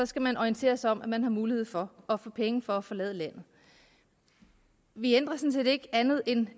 skal orienteres om at man har mulighed for at få penge for at forlade landet vi ændrer sådan set ikke andet end